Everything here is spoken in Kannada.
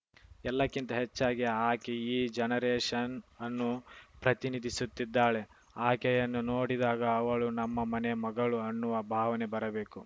ಎಲ್ಲಕ್ಕಿಂತ ಹೆಚ್ಚಾಗಿ ಆಕೆ ಈ ಜನರೇಶನ್‌ಅನ್ನು ಪ್ರತಿನಿಧಿಸುತ್ತಿದ್ದಾಳೆ ಆಕೆಯನ್ನು ನೋಡಿದಾಗ ಅವಳು ನಮ್ಮ ಮನೆ ಮಗಳು ಅನ್ನುವ ಭಾವನೆ ಬರಬೇಕು